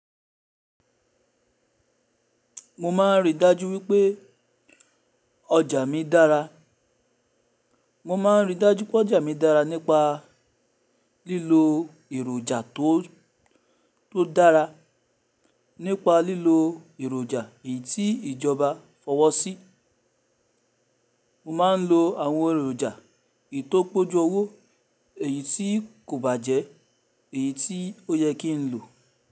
Mo má ń rí dájú wípé ọjà mi dára. Mo má ń rí dájú pé ọjà mi dára nípa lílo èròjà tó, tó dára. Nípa lílo èròjà èyí tí ìjọba fọwọ́ sí. Mo má ń lo àwọn èròjà eyi to pe ójú owó, èyí tí kò bàjẹ́, èyí tí ó yẹ kí n lò.